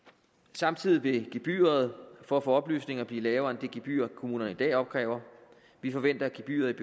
samtidig vil gebyret for at få oplysninger blive lavere end det gebyr kommunerne i dag opkræver vi forventer at gebyret